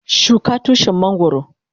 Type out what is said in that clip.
Shuka Tushin mangoro.